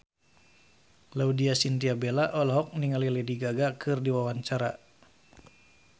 Laudya Chintya Bella olohok ningali Lady Gaga keur diwawancara